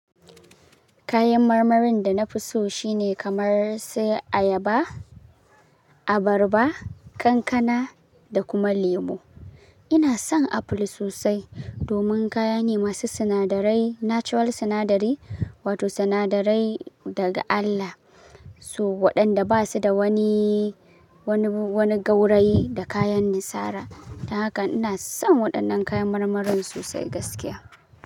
Kayan marmarin da na fi so shine kamar su ayaba, abarba, kankana da kuma lemo. Ina son apple sosai domin kaya ne masu sinadarai, natural sinadari, wato sinadarai daga Allah. So waɗanda ba su da wani, wani, wani gauraye da kayan nisara. Don haka inason waɗannan kayan marmarin sosai gaskiya.